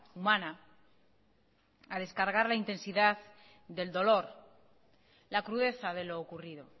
humana a descargar la intensidad del dolor la crudeza de lo ocurrido